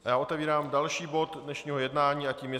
A já otevírám další bod dnešního jednání a tím je